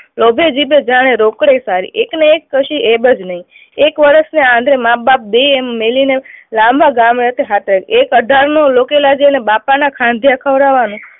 લોભે જીદે જાણે સારી એકને એક પછી નહી. એક વર્ષને આંધે માં બાપ બેય મેલીને લાંબા ગામે એક અઢારનો બાપાને